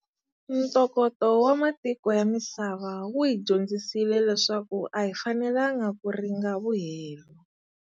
Ntokoto wa matiko ya misava wu hi dyondzisile leswaku a hi fanelangi ku ringa vuhelo.